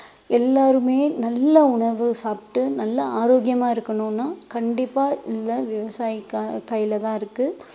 எல்லாருமே நல்ல உணவு சாப்பிட்டு நல்ல ஆரோக்கியமா இருக்கணும்னா கண்டிப்பா இந்த விவசாயி கை~ கையிலதான் இருக்கு